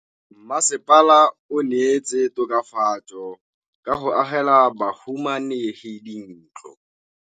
Mmasepala o neetse tokafatsô ka go agela bahumanegi dintlo.